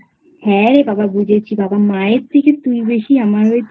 হ্যাঁ রে বাবা বুঝেছি বাবামায়ের থেকে তুই বেশি আমাকে